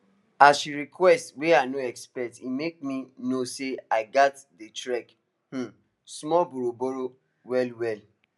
as she request wey i no expect e make me know say i gats dey track um small borrow borrow well well